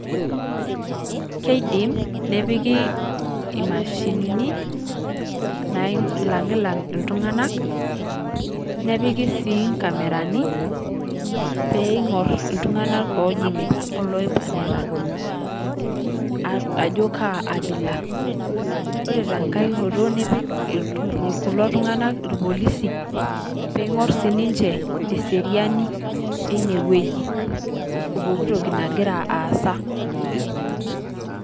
Keidim nepiki imashinini nailang' lang' iltung'ana nepiki sii nkamerani pee ing'or iltung'a ojing'ita oloipang'ita ajo kaa abila . Ore tenkae hoto nipik kulo tung'ana irpolisi ping'or sii ninche eseriani ineweji oo pikin toki nagira aasa.